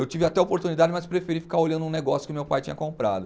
Eu tive até oportunidade, mas preferi ficar olhando um negócio que meu pai tinha comprado.